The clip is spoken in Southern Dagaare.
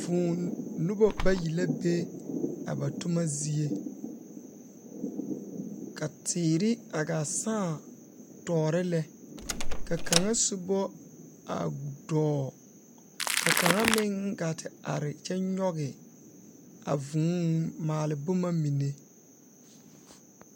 Vūū noba bayi la be a tomma zie ka teere a gaa sãã toore lɛ ka kaŋa sobɔ a dɔɔ ka kaŋa meŋ gaa te are kyɛ nyoge a vūū maale bomma mine.